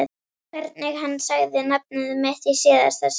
Hvernig hann sagði nafnið mitt í síðasta sinn.